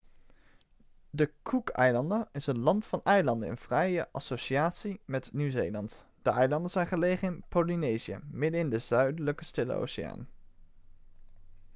de cookeilanden is een land van eilanden in vrije associatie met nieuw-zeeland de eilanden zijn gelegen in polynesië middenin de zuidelijke stille oceaan